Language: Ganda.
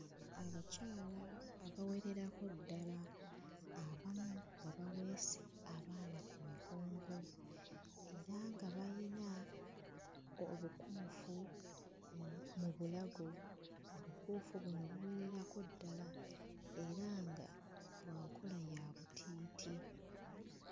Abakyala abawererako ddala abamu nga baweese abaana ku migongo era nga bayina obukuufu mu mu bulago, obukuufu buno buwererako ddala era nga bwa nkola ya butiiti.